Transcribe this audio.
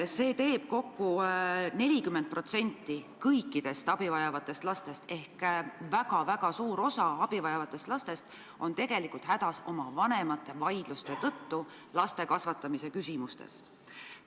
See tähendab, et 40% ehk väga-väga suur osa abi vajavatest lastest on hädas oma vanemate vaidluste tõttu laste kasvatamise küsimustes.